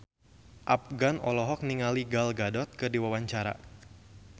Afgan olohok ningali Gal Gadot keur diwawancara